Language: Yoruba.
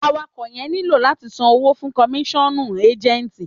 Àwàko yẹn nílò àtí ṣan owo fún komisanu éjẹńtì